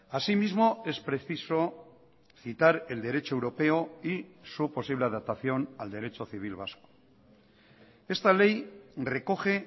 asimismo es preciso citar el derecho europeo y su posible adaptación al derecho civil vasco esta ley recoge